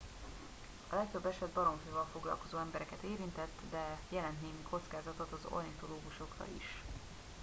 a legtöbb eset baromfival foglalkozó embereket érintett de jelent némi kockázatot az ornitológusokra is